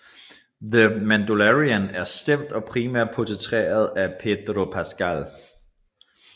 The Mandalorian er stemt og primært portrætteret af Pedro Pascal